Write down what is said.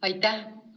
Aitäh!